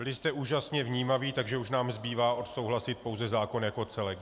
Byli jste úžasně vnímaví, takže už nám zbývá odsouhlasit pouze zákon jako celek.